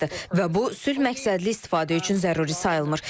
Və bu sülh məqsədli istifadə üçün zəruri sayılmır.